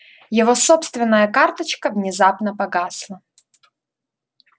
его собственная карточка внезапно погасла